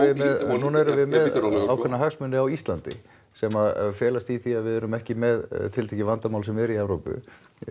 núna erum við með ákveðna hagsmuni á Íslandi sem að felast í því að við erum ekki með tiltekið vandamál sem er í Evrópu